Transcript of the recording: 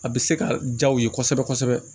A bɛ se ka ja u ye kosɛbɛ kosɛbɛ